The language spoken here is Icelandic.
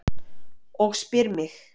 Og spyr mig: